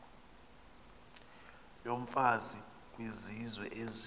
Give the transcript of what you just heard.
yomfazi kwizizwe ezi